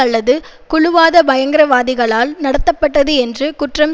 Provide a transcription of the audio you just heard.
அல்லது குழுவாத பயங்கரவாதிகளால் நடத்தப்பட்டது என்று குற்றம்